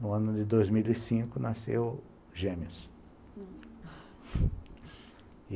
No ano de dois mil e cinco, nasceu gêmeos e